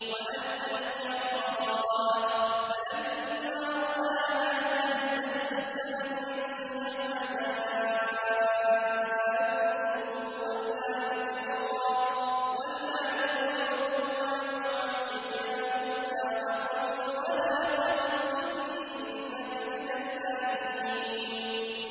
وَأَنْ أَلْقِ عَصَاكَ ۖ فَلَمَّا رَآهَا تَهْتَزُّ كَأَنَّهَا جَانٌّ وَلَّىٰ مُدْبِرًا وَلَمْ يُعَقِّبْ ۚ يَا مُوسَىٰ أَقْبِلْ وَلَا تَخَفْ ۖ إِنَّكَ مِنَ الْآمِنِينَ